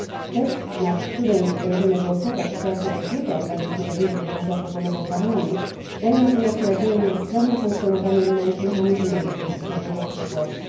Tekst, nad którym będziemy głosować, wprawdzie odbiega od ambitnej wizji, jaką zaproponował Parlament, daje natomiast nadzieję na sprawne funkcjonowanie mechanizmu antykryzysowego w przyszłości.